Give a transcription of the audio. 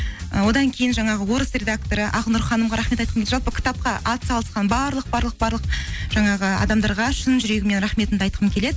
і одан кейін жаңағы орыс редакторы ақнұр ханымға рахмет айтқым жалпы кітапқа атсалысқан барлық барлық барлық жаңағы адамдарға шын жүрегіммен рахметімді айтқым келеді